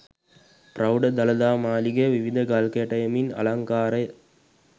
පෞඪ දළදා මාළිගය විවිධ ගල් කැටයමින් අලංකාරය